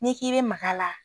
N'i k'i be mag'a la